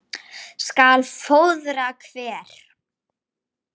skal fróðra hver